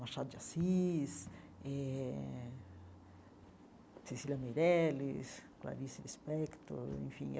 Machado de Assis eh, Cecília Meirelles, Clarice Lispector, enfim.